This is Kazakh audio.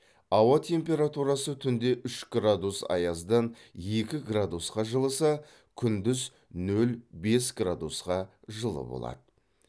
ауа температурасы түнде үш градус аяздан екі градусқа жылыса күндіз нөл бес градусқа жылы болады